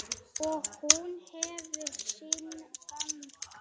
Og hún hefur sinn gang.